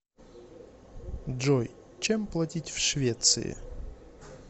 джой чем платить в швеции